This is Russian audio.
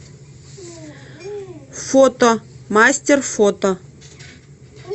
фото мастер фото